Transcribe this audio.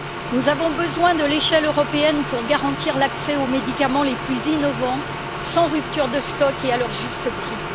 Nous avons besoin de l'échelle européenne pour garantir l'accès aux médicaments les plus innovants, sans rupture de stock et à leur juste prix.